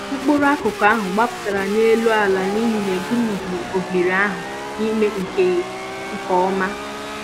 mkpụrụ akụkụ ahụ gbapụtara n'elu àlà n'ihi na-egumighị oghere ahụ ime nke nke ọma